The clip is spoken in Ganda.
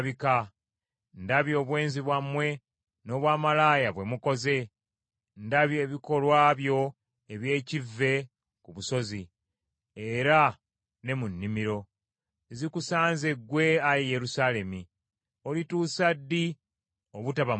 Ndabye obwenzi bwammwe n’obwamalaaya bwe mukoze. Ndabye ebikolwa byo eby’ekivve ku busozi era ne mu nnimiro. Zikusanze ggwe, ayi Yerusaalemi! Olituusa ddi obutaba mulongoofu?”